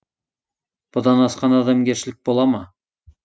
бұдан асқан адамгершілік бола ма